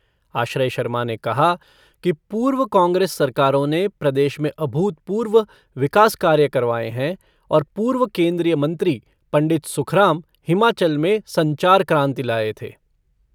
आश्रय शर्मा ने कहा कि पूर्व कांग्रेस सरकारों ने प्रदेश में अभूतपूर्व विकास कार्य करवाए हैं और पूर्व केन्द्रीय मंत्री पंडित सुखराम हिमाचल में संचार क्रांति लाए थे।